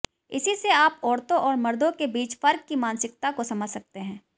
इसी से आप औरतों और मर्दों के बीच फ़र्क़ की मानसिकता को समझ सकते हैं